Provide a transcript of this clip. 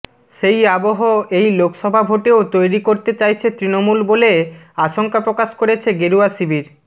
সেই আবহ এই লোকসভা ভোটেও তৈরি করতে চাইছে তৃণমূল বলে আশঙ্কাপ্রকাশ করেছে গেরুয়া শিবির